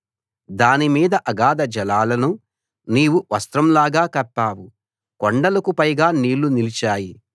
దాని మీద అగాధ జలాలను నీవు వస్త్రం లాగా కప్పావు కొండలకు పైగా నీళ్లు నిలిచాయి